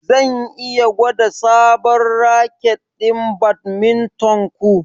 Zan iya gwada sabon raket ɗin badminton ku?